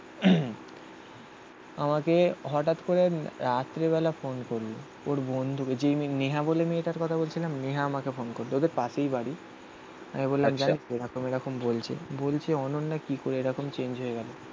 আমাকে হঠাৎ করে রাত্রেবেলা ফোন করলো. ওর বন্ধুকে. যেই নেহা বলে মেয়েটার কথা বলছিলাম নেহা আমাকে ফোন করতো. ওদের পাশেই বাড়ি আমি বললাম স্যার. এরকম এরকম বলছে. বলছে অনন্যা কি করে এরকম চেঞ্জ হয়ে গেলো